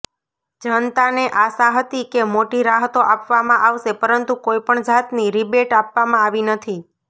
જનતાને આશા હતી કે મોટી રાહતો આપવામાં આવશે પરંતુ કોઇપણ જાતની રીબેટ આપવામાં આવી નથી